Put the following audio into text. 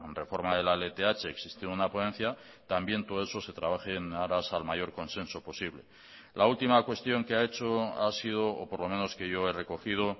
reforma de la lth existe una ponencia también todo eso se trabaje en aras al mayor consenso posible la última cuestión que ha hecho ha sido o por lo menos que yo he recogido